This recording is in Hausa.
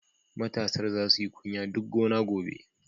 Matasar za su yi kunya duk gona gobe.